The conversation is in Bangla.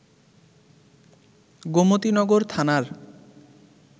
গোমতীনগর থানার